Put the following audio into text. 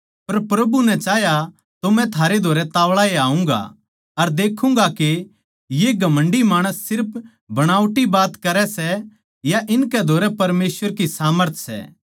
पर प्रभु नै चाह्या तो मै थारै धोरै ताव्ळा ए आऊँगा अर देखूँगा के ये घमण्डी माणस सिर्फ बणावटी बातें करै सै या इनकै धोरै परमेसवर की सामर्थ सै